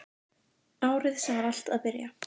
Árið sem allt var að byrja.